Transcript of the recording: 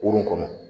Kurun kɔnɔ